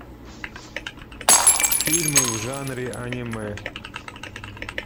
фильмы в жанре аниме